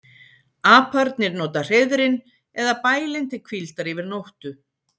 Aparnir nota hreiðrin eða bælin til hvíldar yfir nóttu.